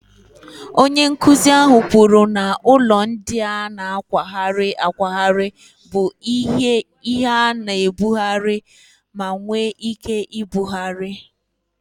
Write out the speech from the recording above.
Onye nkuzi ahụ kwuru na ụlọ ndị a na-akwagharị akwagharị bụ ihe a na-ebugharị ma nwee ike ibugharị.